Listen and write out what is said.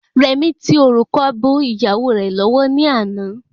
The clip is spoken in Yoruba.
Rẹ̀mí tí òrùka bọ ìyàwó rẹ̀ lọ́wọ́ ni àná